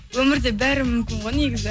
өмірде бәрі мүмкін ғой негізі